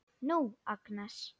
Nú, Agnes.